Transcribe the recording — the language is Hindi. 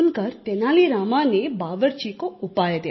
सुनकर तेनाली रामा ने बावर्ची को उपाय दिया